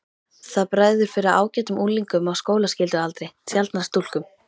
Það bregður fyrir ágætum unglingum á skólaskyldualdri, sjaldnar stúlkum.